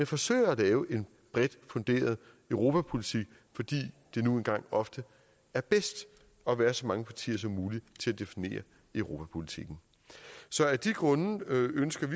forsøge at lave en bredt funderet europapolitik fordi det nu engang ofte er bedst at være så mange partier som muligt til at definere europapolitikken så af de grunde ønsker